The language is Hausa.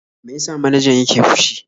Me ya sa manajan yake fushi?